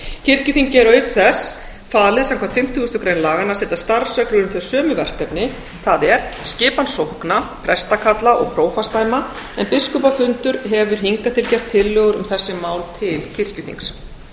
kirkjuþingi er auk þess falið samkvæmt fimmtugustu grein laganna að setja starfsreglur um þau sömu verkefni það er skipan sókna prestakalla og prófastsdæma en biskupafundur hefur hingað til gert tillögur um þessi mál til kirkjuþings